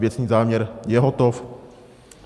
Věcný záměr je hotov.